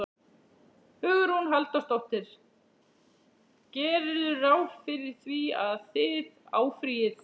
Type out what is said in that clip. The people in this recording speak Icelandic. Hugrún Halldórsdóttir: Gerirðu ráð fyrir því að, að þið áfrýið?